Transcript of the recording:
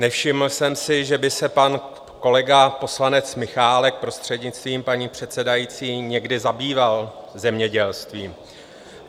Nevšiml jsem si, že by se pan kolega, poslanec Michálek, prostřednictvím paní předsedající, někdy zabýval zemědělstvím.